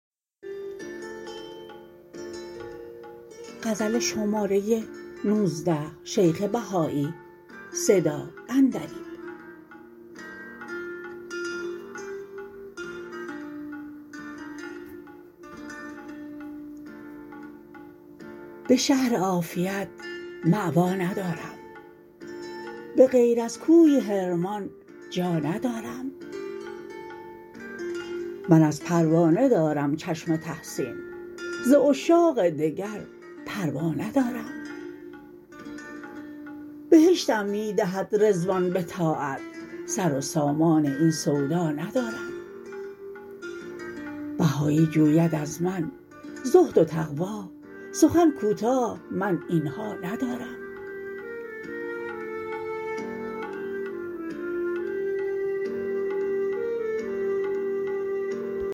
به شهر عافیت مأوی ندارم بغیر از کوی حرمان جا ندارم من از پروانه دارم چشم تحسین ز عشاق دگر پروا ندارم بهشتم می دهد رضوان به طاعت سر و سامان این سودا ندارم بهایی جوید از من زهد و تقوی سخن کوتاه من اینها ندارم